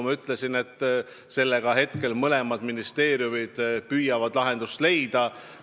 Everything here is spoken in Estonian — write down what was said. Ja mõlemad ministeeriumid püüavadki praegu lahendust leida.